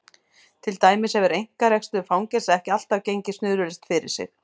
Til dæmis hefur einkarekstur fangelsa ekki alltaf gengið snurðulaust fyrir sig.